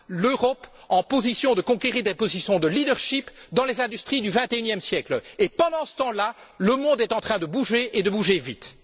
l'Europe en position de conquérir des positions de leadership dans les industries du XXIe siècle. Pendant ce temps là, le monde est en train de bouger, et de bouger vite.